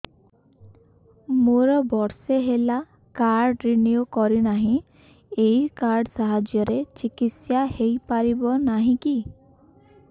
ମୋର ବର୍ଷେ ହେଲା କାର୍ଡ ରିନିଓ କରିନାହିଁ ଏହି କାର୍ଡ ସାହାଯ୍ୟରେ ଚିକିସୟା ହୈ ପାରିବନାହିଁ କି